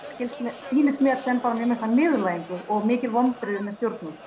sýnist mér sýnist mér sem bara mjög mikla niðurlægingu og mikil vonbrigði með stjórnvöld